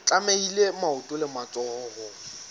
tlamehile maoto le matsoho ho